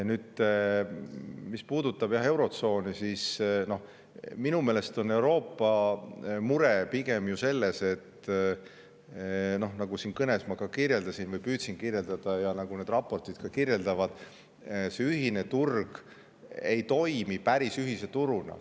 Nüüd, mis puudutab eurotsooni, siis minu meelest on Euroopa mure pigem ju selles, nagu ma siin kõnes kirjeldasin või püüdsin kirjeldada ja nagu need raportid kirjeldavad, et see ühine turg ei toimi päris ühise turuna.